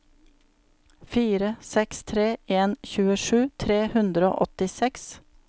fire seks tre en tjuesju tre hundre og åttiseks